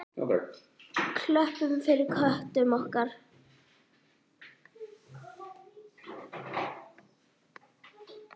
Klöppum fyrir köttum okkar!